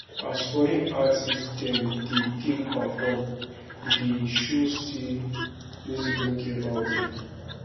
as foreign artist dem dey take perform dey show sey music no get boundary